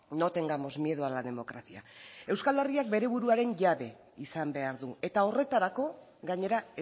no tengamos miedo a la democracia euskal herriak bere buruaren jabe izan behar du eta horretarako gainera